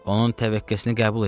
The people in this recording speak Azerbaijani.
Onun təvəkkəsini qəbul elə.